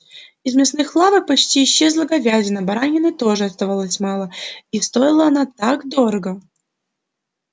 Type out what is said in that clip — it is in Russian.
из мясных лавок почти исчезла говядина баранины тоже оставалось мало и стоила она так дорого